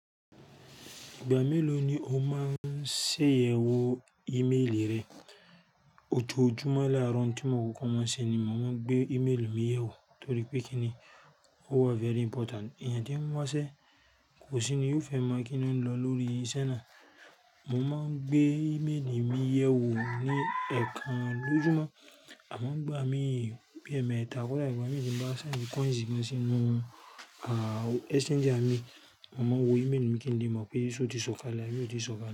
Ìgbà mélò ni o máa ń ṣe àyẹ̀wò ímélì rẹ? Ojoojúmọ́ láárọ̀ oun ti mo kọ́kọ́ máa ń ṣe ni mo máa ń gbé ímélì mi yẹ̀ wò torí pé kíni, o wa very important. Ẹyan tí ń wa ṣẹ́ kò sí ni yó fẹ́ mọ̀ kí loun lọ lórí iṣẹ́ náà. Mo máa ń gbé ímélì mi yẹ̀ wò ní ẹ̀ẹ̀kan lójúmọ́. Amo ń gbà mí bi ẹ̀mẹ̀ta kọ́ da igba mi tí mo bá ṣendi kọ́ìsì gan si inú ah exchanger mi, mo máa wo ímélì mi kí n lè mọ̀ pé ṣó ti sọ̀kalẹ̀, abi o ti ṣó kale.